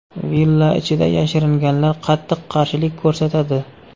Villa ichida yashiringanlar qattiq qarshilik ko‘rsatadi.